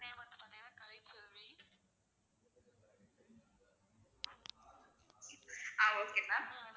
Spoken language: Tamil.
ah okay ma'am